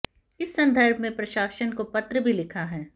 इस संदर्भ में प्रशासन को पत्र भी लिखा है